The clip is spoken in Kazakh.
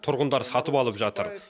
тұрғындар сатып алып жатыр